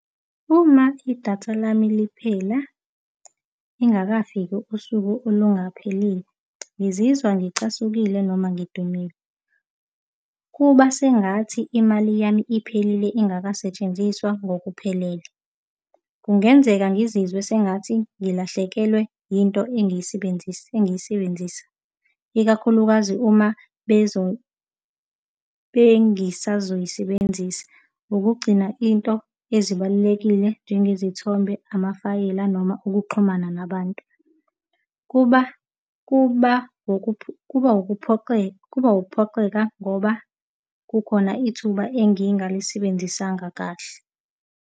Uma idatha lami liphela ingakafiki usuku lungaphelile, ngizizwa ngicasukile noma ngidumele. Kuba sengathi imali yami iphelile, ingasetshenziswa ngokuphelele. Kungenzeka ngizizwe sengathi ngilahlekelwe into engiyisebenzisa, engiyisebenzisa, ikakhulukazi uma bengisazoyisebenzisa. Nokugcina into ezibalulekile njengezithembiso, amafayela, noma ukuxhumana nabantu. Kuba, kuba, kuba wukuphoxeka kuba ukuphoxeka ngoba kukhona ithuba engingalisebenzisanga kahle.